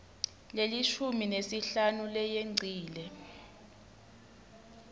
lelishumi nesihlanu leyengcile